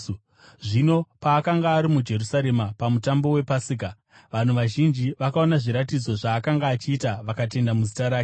Zvino paakanga ari muJerusarema paMutambo wePasika, vanhu vazhinji vakaona zviratidzo zvaakanga achiita vakatenda muzita rake.